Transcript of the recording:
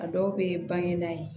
A dɔw bɛ ban e nan ye